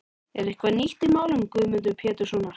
Er eitthvað nýtt í málum Guðmundar Péturssonar?